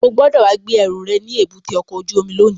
O gbọ́dọ̀ wá gbé ẹrù rẹ̀ ní èbúté ọkọ̀ ojú omi lónìí!